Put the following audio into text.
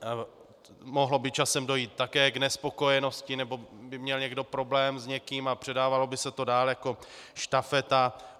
Mohlo by časem dojít také k nespokojenosti nebo by měl někdo problém s někým a předávalo by se to dál jako štafeta.